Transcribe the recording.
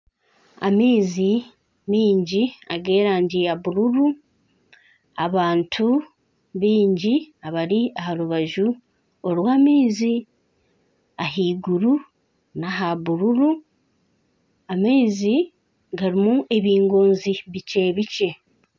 Amaizi mingi ag'erangi ya bururu, abantu baingi abari aha rubaju rw'amaizi ahaiguru n'aha bururu amaizi garimu ebingoonzi bikye bikye